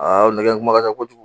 Nɛgɛ in kuma ka ca kojugu